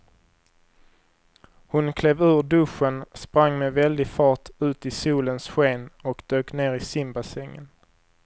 Hon klev ur duschen, sprang med väldig fart ut i solens sken och dök ner i simbassängen.